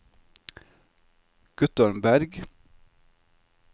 Guttorm Bergh